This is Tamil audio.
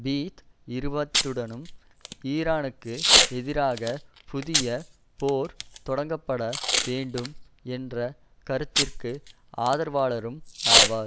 பீத் இருப்பதுடன் ஈரானுக்கு எதிராக புதிய போர் தொடங்கப்பட வேண்டும் என்ற கருத்திற்கு ஆதரவாளரும் ஆவார்